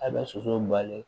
A bɛ soso bali